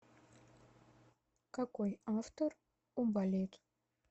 какой автор у балет